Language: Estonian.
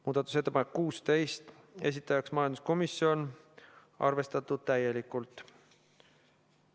Muudatusettepanek nr 16, esitajaks majanduskomisjon, arvestatud täielikult.